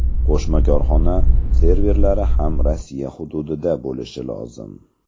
Qo‘shma korxona serverlari ham Rossiya hududida bo‘lishi lozim.